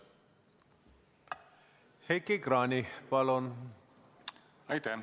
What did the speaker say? Heiki Kranich, palun!